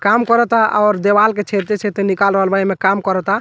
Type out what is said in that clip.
काम करता और देवाल के छेदते-छेदते निकाल रहल बा एमें काम करता।